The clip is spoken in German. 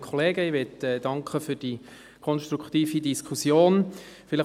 Ich möchte mich für die konstruktive Diskussion bedanken.